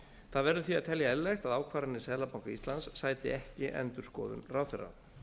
það verður því að telja eðlilegt að ákvarðanir seðlabanka íslands sæti ekki endurskoðun ráðherra